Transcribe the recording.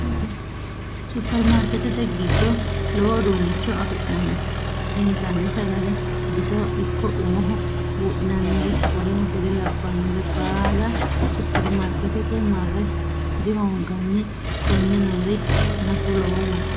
Supermaarketete giddo lowo uduunnicho afi'nanni. Intanni sagale, bisoho ikko umoho budhinanniri w.k.l baala supermaarketete marre dihoonganni. konne Noori nafu loworeeti